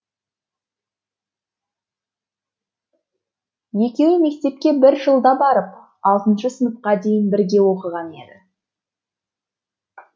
екеуі мектепке бір жылда барып алтыншы сыныпқа дейін бірге оқыған еді